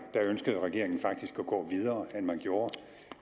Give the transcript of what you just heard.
ønskede regeringen faktisk at gå videre end man gjorde